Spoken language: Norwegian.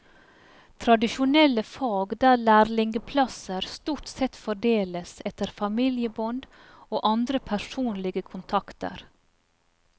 Tradisjonelle fag der lærlingeplasser stort sett fordeles etter familiebånd og andre personlige kontakter.